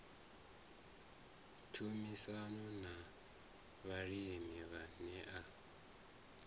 tshumisano na vhalimi vhane a